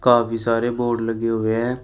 काफी सारे बोर्ड लगे हुए हैं।